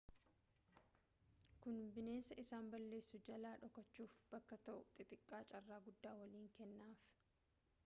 kun bineensa isaan balleessu jalaa dhokachuuf bakka ta'u xixiqqaa carraa guddaa waliin kennaf